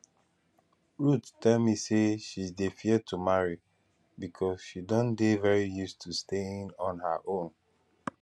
ruth tell me say she dey fear to marry because she don dey very used to staying on her own